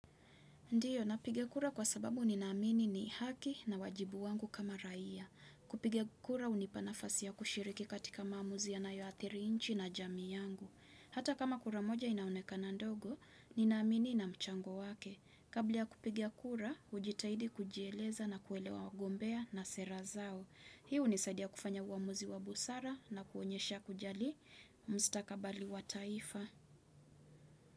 Ndiyo, napigia kura kwa sababu ninaamini ni haki na wajibu wangu kama raia. Kupiga kura hunipanafasi ya kushiriki katika maamuzi yanayoathiri nchi na jamii yangu. Hata kama kura moja inaonekana ndogo, ninaamini ina mchango wake. Kabla ya kupiga kura, hujitahidi kujieleza na kuelewa wagombea na sera zao. Hii hunisaidia kufanya uamuzi wa busara na kuonyesha kujali mstakabali wa taifa.